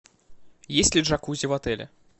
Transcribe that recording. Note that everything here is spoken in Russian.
есть ли джакузи в отеле